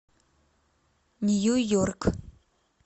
нью йорк